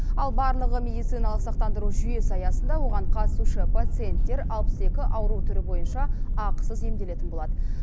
ал барлығы медициналық сақтандыру жүйесі аясында оған қатысушы пациенттер алпыс екі ауру түрі бойынша ақысыз емделетін болады